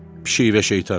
Pişik və şeytan.